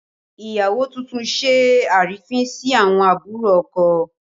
Ìyàwó tuntun ṣe àrífín sí àwọn àbúrò ọkọ